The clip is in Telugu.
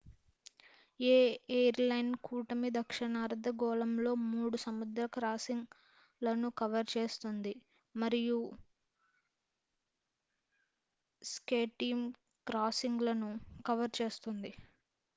ఏ ఎయిర్ లైన్ కూటమి దక్షిణార్ధగోళంలో మూడు సముద్ర క్రాసింగ్ లను కవర్ చేస్తుంది మరియు స్కైటీమ్ క్రాసింగ్ లను కవర్ చేస్తుంది